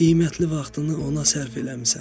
Qiymətli vaxtını ona sərf eləmisən.